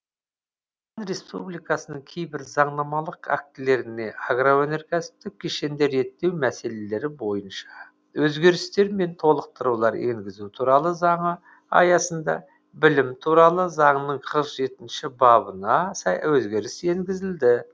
республикасының кейбір заңнамалық актілеріне агроөнеркәсіптік кешенді реттеу мәселелері бойынша өзгерістер мен толықтырулар енгізу туралы заңы аясында білім туралы заңның қырық жетінші бабына өзгеріс енгізілді